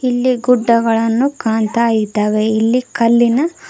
ಇಲ್ಲಿ ಗುಡ್ಡಗಳನ್ನು ಕಾಣ್ತಾ ಇದ್ದಾವೆ ಇಲ್ಲಿ ಕಲ್ಲಿನ--